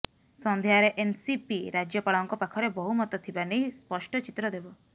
ସନ୍ଧ୍ୟାରେ ଏନସିପି ରାଜ୍ୟପାଳଙ୍କ ପାଖରେ ବହୁମତ ଥିବା ନେଇ ସ୍ପଷ୍ଟ ଚିତ୍ର ଦେବ